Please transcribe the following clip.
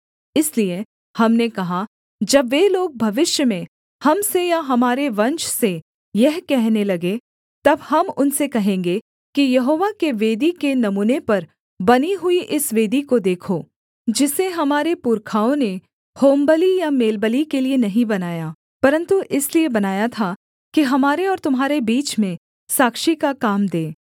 इसलिए हमने कहा जब वे लोग भविष्य में हम से या हमारे वंश से यह कहने लगें तब हम उनसे कहेंगे कि यहोवा के वेदी के नमूने पर बनी हुई इस वेदी को देखो जिसे हमारे पुरखाओं ने होमबलि या मेलबलि के लिये नहीं बनाया परन्तु इसलिए बनाया था कि हमारे और तुम्हारे बीच में साक्षी का काम दे